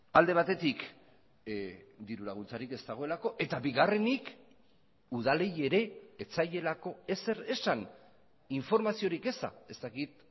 alde batetik dirulaguntzarik ez dagoelako eta bigarrenik udalei ere ez zaielako ezer esan informaziorik eza ez dakit